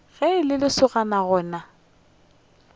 ge e le lesogana lona